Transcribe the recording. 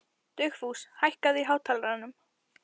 Dugfús, hækkaðu í hátalaranum.